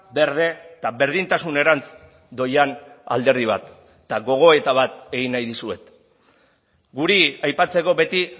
berde eta berdintasunerantz doian alderdi bat eta gogoeta bat egin nahi dizuet guri aipatzeko beti